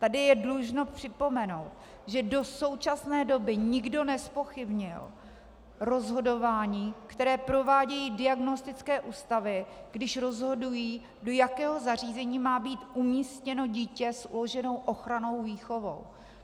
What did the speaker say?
Tady je dlužno připomenout, že do současné doby nikdo nezpochybnil rozhodování, které provádějí diagnostické ústavy, když rozhodují, do jakého zařízení má být umístěno dítě s uloženou ochrannou výchovou.